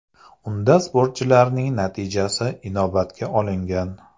Unda sportchilarning natijasi inobatga olingan.